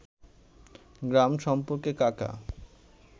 গ্রাম সম্পর্কে কাকা